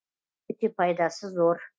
өте пайдасы зор